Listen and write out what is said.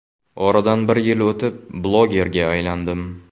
Oradan bir yil o‘tib blogerga aylandim.